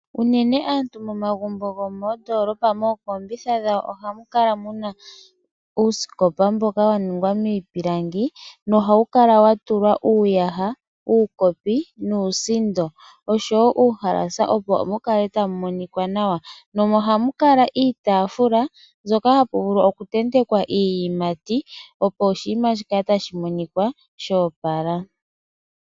Unene aantu yo moondoolopa mookombitha dhawo ohamu kala muna uusikopa mboka wa ningwa miipilangi no hawu kala watulwa uuyaha, uukopi nuusindo oshowo uuhalasa opo mukale ta mumonika nawa. Ohamu kala iitafula mbyoka hapu vulu oku tentekwa iiyimati opo oshinima shikale tashi monika sho opala.